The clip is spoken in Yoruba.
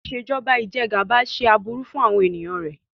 Ìṣèjọba Ìjẹgàba ṣe aburú fún àwọn ènìyàn rẹ.